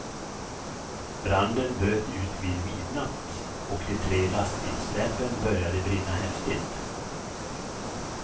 Branden bröt ut vid midnatt, och de tre lastbilssläpen började brinna häftigt.